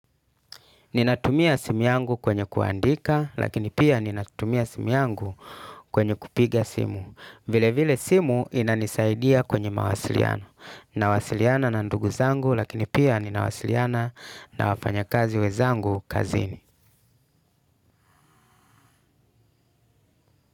Ninatumia simu yangu kwenye kuandika, lakini pia ninatumia simu yangu kwenye kupiga simu. Vile vile simu inanisaidia kwenye mawasiliano. Nawasiliana na nduguzangu, lakini pia ninawasiliana na wafanya kazi wenzangu kazini.